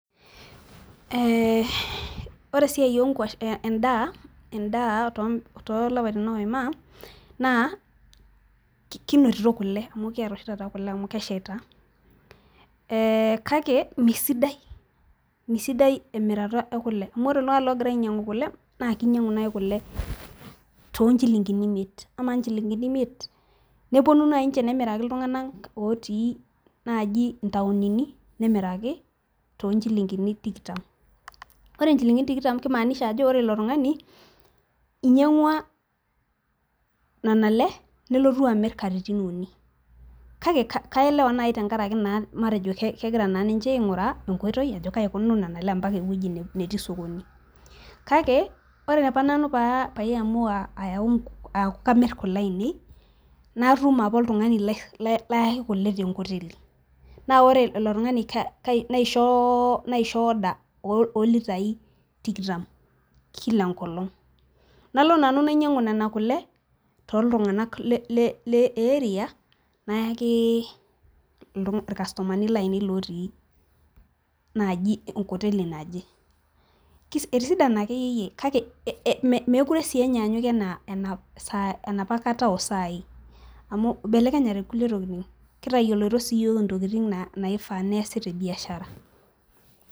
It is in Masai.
ore esiai edaa too ilaipaitin oima naa kinotito kule ekiyata oshi tata kule kake ore iltunganak oogira ainyang'u kule naa kegira aitadoyio oleng' amu amaa ichilingini imiet kaji ejingaki oltung'ani kake kepuo niche amir aitobiraki, kake ore apa nanu pee eku kamir kule ainei natum apa oltungani layaki kule tenkoteli ore ilotungani naisho oda ooilitai tikitam, kila engong nalo nanu nanyiang'u kule too iltunganak le erea naya naji enkoteli naje, etisidana akeyie amu kitayiolito siiyiok intokitin naifaa neesi tebiashara.